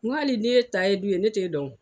N go hali n'i ye kayi du ye, ne t'e dɔn.